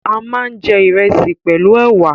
A máa ń jẹ ìrẹsì pẹ̀lú ẹ̀wà